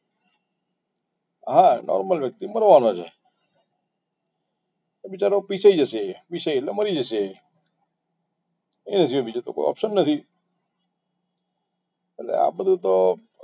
હા normal વ્યક્તિ મરવાનો છે તો બિચારો પીસાઈ જશે પીસાઈ એટલે મરી જશે એના સિવાય બીજું તો કોઈ options નથી એટલે આ બધું તો